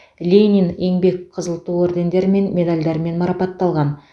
ленин еңбек қызыл ту ордендерімен медальдармен марапатталған